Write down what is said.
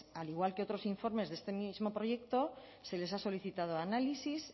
al igual que otros informes de este mismo proyecto se les ha solicitado análisis